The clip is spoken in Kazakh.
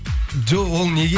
жоқ ол неге